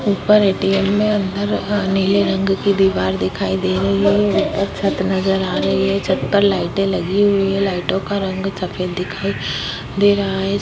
ऊपर ए.टी.एम. में अंदर नीले रंग की दिवार दिखाई दे रही है ऊपर छत नज़र आ रही है छत पर लाइटे लगी हुई है लाइटों का रंग सफ़ेद दिखाई दे रहा है।